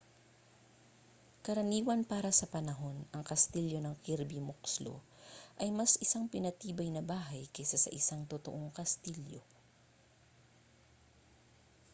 karaniwan para sa panahon ang kastilyo ng kirby muxloe ay mas isang pinatibay na bahay kaysa sa isang totoong kastilyo